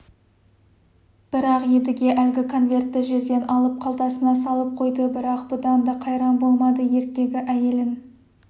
бірақ едіге әлгі конвертті жерден алып қалтасына салып қойды бірақ бұдан да қайран болмады еркегі әйелін